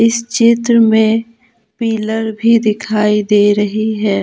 इस चित्र में पिलर भी दिखाई दे रही है।